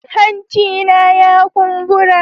Hancina ya kumbura.